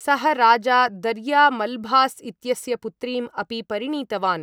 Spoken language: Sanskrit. सः राजा दर्या मल्भास् इत्यस्य पुत्रीम् अपि परिणीतवान्।